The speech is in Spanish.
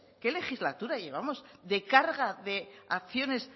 qué legislatura llevamos de carga de acciones